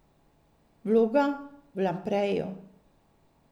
Vloga v Lampreju?